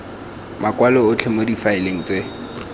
makwalo otlhe mo difaeleng tse